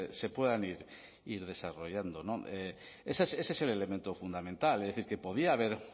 se puedan ir desarrollando ese es el elemento fundamental es decir que podía haber